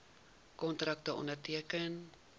kontrakte onderteken